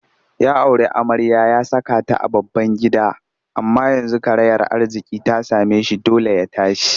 Ya auri amarya ya saka ta a babban gida amma yanzu karayar arziƙi ta same shi dole ya tashi